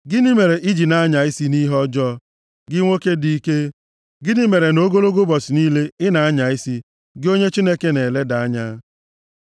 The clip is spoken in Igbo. Gịnị mere i ji na-anya isi nʼihe ọjọọ, gị nwoke dị ike? Gịnị mere na ogologo ụbọchị niile, ị na-anya isi, gị onye Chineke na-eleda anya?